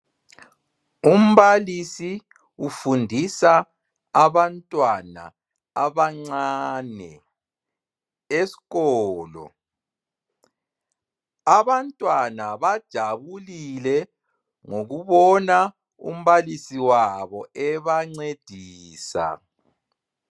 Umbalisi ufundisa abantwana abancane esikolo. Abantwana bajabulile ngokubona umbalisi wabo ebancedisa.